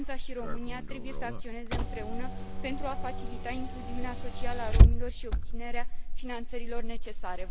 Franța și România trebuie să acționeze împreună pentru a facilita incluziunea socială a romilor și obținerea finanțărilor necesare.